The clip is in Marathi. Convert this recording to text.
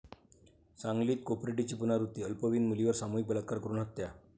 सांगलीत कोपर्डीची पुनरावृत्ती, अल्पवयीन मुलीवर सामूहिक बलात्कार करून हत्या